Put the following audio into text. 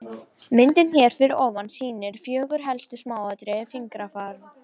Myndin hér fyrir ofan sýnir fjögur helstu smáatriði fingrafara.